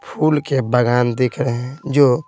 फूल के बागान दिख रहे हैं जो--